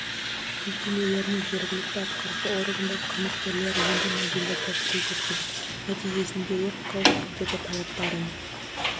мекемелері мен жергілікті атқарушы органдар қызметкерлері енді мобильді топ рейд өткізіп нәтижесінде өрт қауіпсіздігі талаптарын